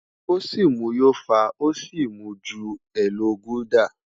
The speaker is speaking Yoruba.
O si mu yó fa o si mu ju Elo gulder